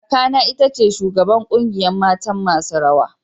Kaka na ita ce shugaban kungiyan matan masun rawa.